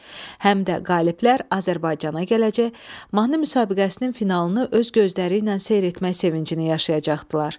Həm də qaliblər Azərbaycana gələcək, mahnı müsabiqəsinin finalını öz gözləriylə seyr etmək sevincini yaşayacaqdılar.